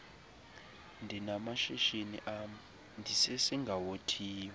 ndinamashishini am ndisesingawothiyo